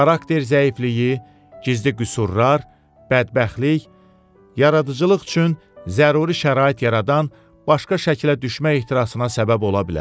Xarakter zəifliyi, gizli qüsurlar, bədbəxtlik, yaradıcılıq üçün zəruri şərait yaradan başqa şəklə düşmək ehtirasına səbəb ola bilər.